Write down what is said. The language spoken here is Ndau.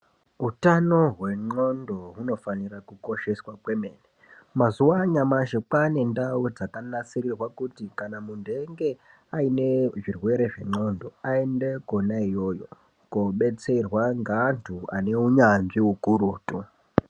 Utano hwengqondo hunofanire kukosheswa kwemene. Mazuwa anyamashi kwaa nendau dzakanasirirwa kuti kana munthu einge aine zvirwere zvengqondo, aende kwona iyoyo, koobetserwa ngeanthu ane unyanzvi ukurutu.